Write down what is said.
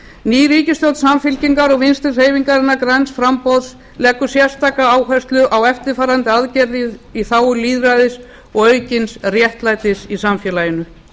ný ríkisstjórn samfylkingar og vinstri hreyfingarinnar græns framboðs leggur sérstaka áherslu á eftirfarandi breytingar í þágu lýðræðis og aukins réttlætis í samfélaginu